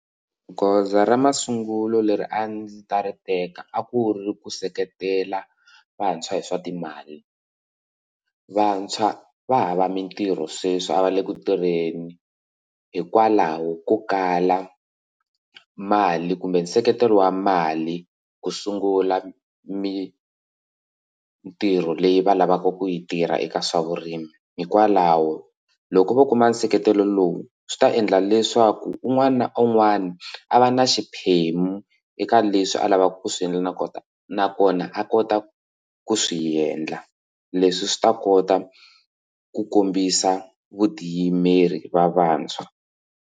Goza ra masungulo leri a ndzi ta ri teka a ku ri ku seketela vantshwa hi swa timali vantshwa va hava mitirho sweswi a va le ku tirheni hikokwalaho ko kala mali kumbe nseketelo wa mali ku sungula mitirho leyi va lavaka ku yi tirha eka swa vurimi hikwalaho loko vo kuma nseketelo lowu swi ta endla leswaku un'wana na un'wana a va na xiphemu eka leswi a lavaka ku swi endla na kona nakona a kota ku swiendla leswi swi ta kota ku kombisa vutiyimeri va vantshwa.